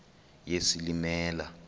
yesilimela